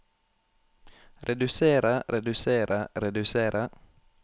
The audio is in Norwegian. redusere redusere redusere